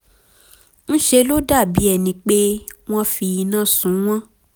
ńṣe ló dàbí ẹni pé wọ́n fi iná sun wọ́n